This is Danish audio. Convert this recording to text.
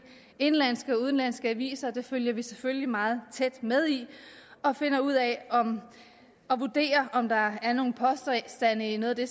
indenlandske og udenlandske aviser og det følger vi selvfølgelig meget tæt med i og finder ud af og vurderer om der er nogle påstande i noget af det